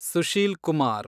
Sushil Kumar